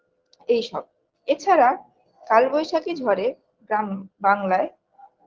এইসব এছাড়া কাল বৈশাখী ঝরে গ্রাম বাংলায়